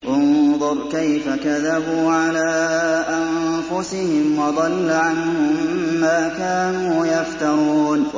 انظُرْ كَيْفَ كَذَبُوا عَلَىٰ أَنفُسِهِمْ ۚ وَضَلَّ عَنْهُم مَّا كَانُوا يَفْتَرُونَ